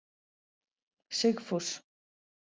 Sigfús